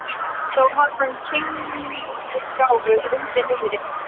Þó hafði hann kímnigáfu undir niðri.